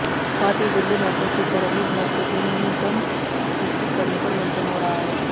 साथ ही दिल्ली मेट्रो की तरह ही मेकेनिज्म विकसित करने पर मंथन हो रहा है